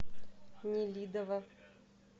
нелидово